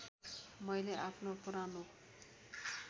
मैले आफ्नो पुरानो